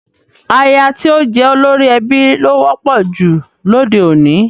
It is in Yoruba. Aya tí ó jẹ́ olórí ẹbí ló wọ́pọ̀ jù lóde òní